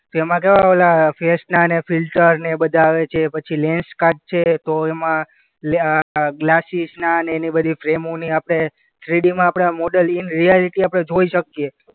એમાં કેવા ઓલા ફેસના ને ફિલ્ટર ને એ બધા આવે છે. પછી લેન્સકાર્ટ છે તો એમાં ઓલ્યા ગ્લાસિસના ને એની બધી ફ્રેમોની આપણે થ્રીડીમાં આપણે મોડેલ ઈન રિયાલિટી આપણે જોઈ શકીએ.